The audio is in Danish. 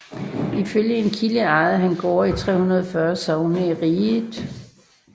Ifølge en kilde ejede han gårde i 340 sogne i riget